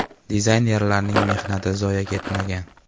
Dizaynerlarning mehnatlari zoye ketmagan.